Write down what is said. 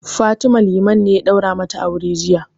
Fatima, Liman ne ya ɗaura mata aure jiya.